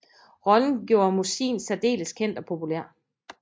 Rollen gjorde Mossin særdeles kendt og populær